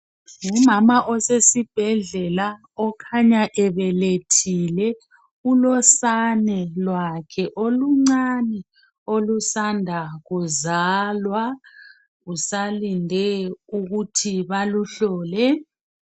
Ngumama osesibhedlela okhanya ebethile ulosane lwakhe oluncane okusanda kuzalwa usalinde ukuthi baluhlole